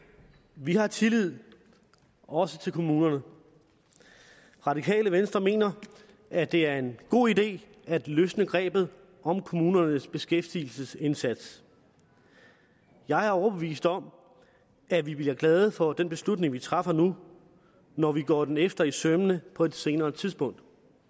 vi har tillid også til kommunerne radikale venstre mener at det er en god idé at løsne grebet om kommunernes beskæftigelsesindsats jeg er overbevist om at vi bliver glade for den beslutning vi træffer nu når vi går den efter i sømmene på et senere tidspunkt